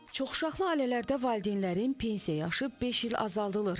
Çoxuşaqlı ailələrdə valideynlərin pensiya yaşı beş il azaldılır.